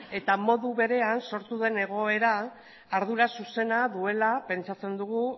eta modu berean sortu den egoera ardura zuzena duela pentsatzen dugu